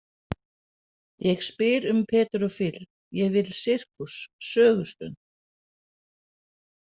Ég spyr um Pedro Fill, ég vil sirkus, sögustund.